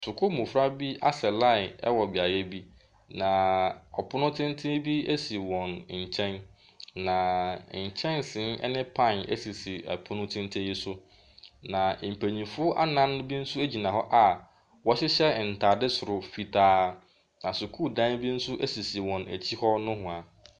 Sukuu mmɔfra bi asa line wɔ beaeɛ bi, na ɔpono tenten bi si wɔn nkyɛn. Na nkyɛnsee ne pan sisi pono tenten yi so. Na mpanimfoɔ anan bi nso gyina hɔ a wɔhyehyɛ ntadeɛ soro fitaa. Na sukuudan bi nso sisi wɔn akyi nohoa.